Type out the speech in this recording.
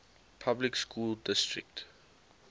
public school district